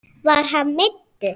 Var hann meiddur?